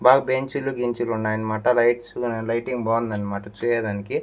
బాగా బెంచీలు గించీలు ఉన్నాయన్నమాట లైట్స్ లైటింగ్ బాగుంది అన్నమాట చూయేదానికి.